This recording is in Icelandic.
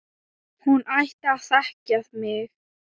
Hún ætti að þekkja mig!